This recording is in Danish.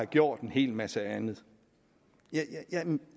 gjort en hel masse andet vil